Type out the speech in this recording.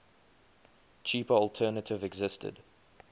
cheaper alternative existed